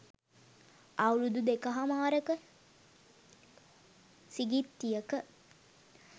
අවුරුදු දෙකහමාරක සිඟිත්තියක